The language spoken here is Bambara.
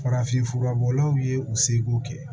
Farafinfura bɔlaw ye u seko kɛ